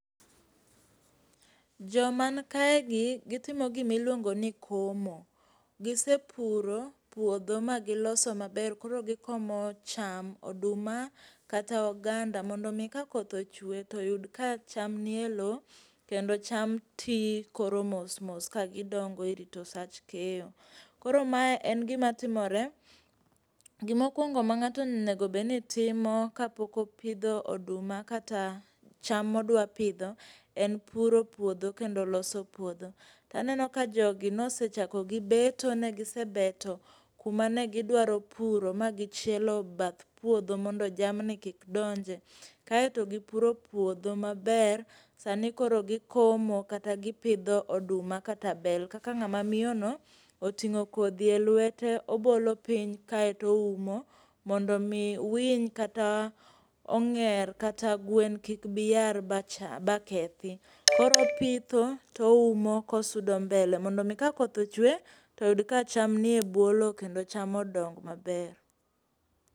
Jomankaegi gitimo gimiluongoni komo. Gisepuro puodho ma giloso maber koro gikomo cham, oduma kata oganda mondo omii ka koth ochue toyud ka cham nie loo. Kendo cham tii koro mosmos kagidongo e rito sach keyo. Koro mae en gima timore. Gimokuongo ma ng'ato onego obenitimo kapok opidho oduma kata cham modwapidho en puro puodho kendo loso puodho. Taneno ka jogi nosechako gi beto, negisebeto kuma negidwaro puro magi chielo bath puodho mondo jamni kik donje kae to gipuro puodho maber sani koro gikomo kata gipidho oduma kata bel. Kaka ng'ama miyono oting'o kodhi e luete obolo piny kae toumo mondomii winy kata ong'er kata gwen kik biyar bakethi. Koro opitho to oumo kosudo mbele mondomii ka koth ochue toyud ka cham nie buo loo kendo cham odong maber.